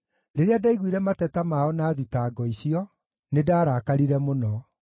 Rĩrĩa ndaiguire mateta mao na thitango icio, nĩndarakarire mũno.